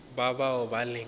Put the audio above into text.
ba ba boa ba le